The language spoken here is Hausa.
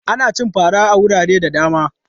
Ana cin fara a wurare da dama.